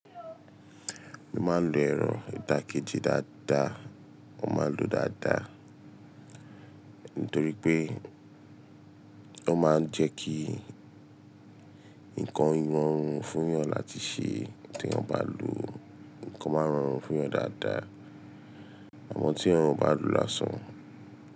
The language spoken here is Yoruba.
Mo máa ń lo ẹ̀rọ ìtàkẹ́jì dáadáa, mo máa ń lo dáadáa nítorí pé ó máa ń jẹ́ kí nǹkan rọrùn fún ìyàn láti ṣe tí wọ́n bá lòó. Nǹkan máa ń rọrùn fún ìyàn dáadáa, à mọ́ tí irun bá dùú lásán.